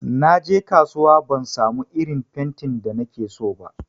Naje kasuwa ban samu irin fentin da nakeso ba.